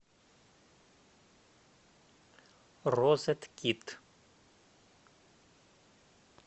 розеткид